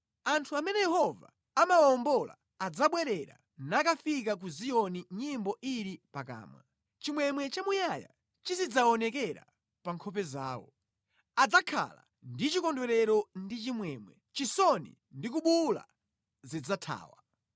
Anthu amene Yehova anawawombola adzabwerera nakafika ku Ziyoni nyimbo ili pakamwa; chimwemwe chamuyaya chizidzaonekera pa nkhope zawo. Adzakhala ndi chikondwerero ndi chimwemwe, chisoni ndi kubuwula zidzathawa.